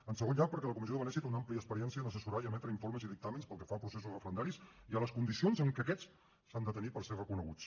en segon lloc perquè la comissió de venècia té una àmplia experiència en assessorar i emetre informes i dictàmens pel que fa a processos referendaris i a les condicions en què aquests s’han de tenir per ser reconeguts